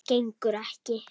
Gengur ekki.